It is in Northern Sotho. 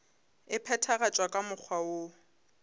e phethagatšwa ka mokgwa woo